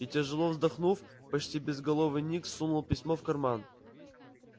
и тяжело вздохнув почти безголовый ник сунул письмо в карман